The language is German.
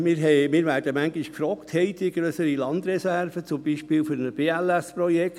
Wir werden teilweise gefragt, ob wir grössere Landreserven haben, beispielsweise für ein BLS-Projekt.